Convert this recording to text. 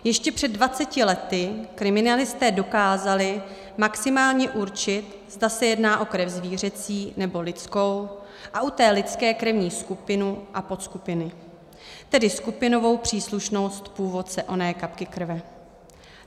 Ještě před 20 lety kriminalisté dokázali maximálně určit, zda se jedná o krev zvířecí, nebo lidskou, a u té lidské krevní skupinu a podskupiny, tedy skupinovou příslušnost původce oné kapky krve.